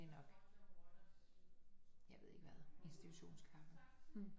Det er nok jeg ved ikke hvad institutionskaffe